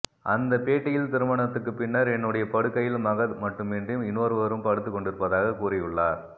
அந்த பேட்டியில் திருமணத்துக்குப் பின்னர் என்னுடைய படுக்கையில் மகத் மட்டுமின்று இன்னொருவரும் படுத்து கொண்டிருப்பதாக கூறியுள்ளார்